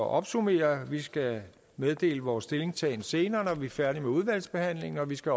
at opsummere vil skal meddele vores stillingtagen senere når vi er færdige med udvalgsbehandlingen vi skal